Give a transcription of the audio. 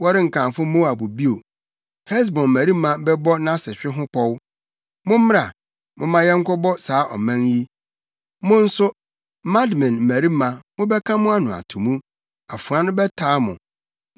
Wɔrenkamfo Moab bio; Hesbon mmarima bɛbɔ nʼasehwe ho pɔw; ‘Mommra, momma yɛnkɔbɔ saa ɔman yi.’ Mo nso, Madmen mmarima mobɛka mo ano ato mu; afoa no bɛtaa mo.